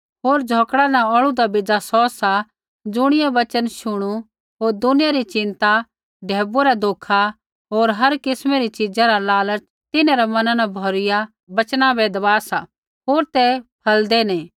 होर झ़ौकड़ा न औल़ूदा बेज़ा सौ सा ज़ुणियै वचन शुणू होर दुनिया री चिंता ढैबुऐ रा धोखा होर हर किस्मै री च़ीज़ा रा लालच तिन्हरै मना न भौरूइया वचना बै दबा सा होर ते फलदै नी